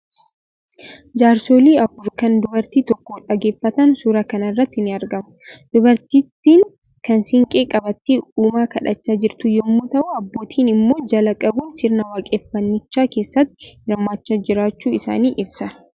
Jaarsolii afur kan dubartii tokko dhaggeeffatan suuraa kana irratti ni argamu. Dubartittiin kan siinqee qabattee uumaa kadhachaa jirtu yommuu ta'u, abbootiin immoo jalaa qabuun sirnaa waaqeffannichaa keessatti hirmaachaa jiraachuu isaanii ibsa.